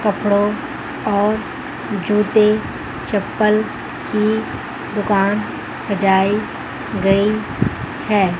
कपड़ों और जूते चप्पल की दुकान सजाई गई है।